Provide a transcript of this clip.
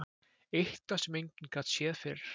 Eitthvað sem enginn gat séð fyrir.